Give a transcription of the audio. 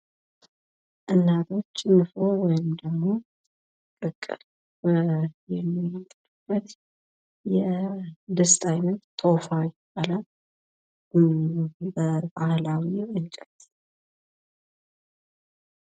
እናቶች ንፍሮ ወይም ደግሞ ቅቅል የሚቀቅሉበት የድስት አይነት ቶፋ ይባላል። ከኋላ ደግሞ እንጨት